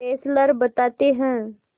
Fessler बताते हैं